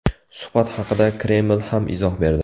Suhbat haqida Kreml ham izoh berdi.